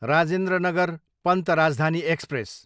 Rajendra Nagar Patna Rajdhani express